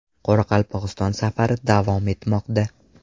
Qoraqalpog‘iston safari davom etmoqda.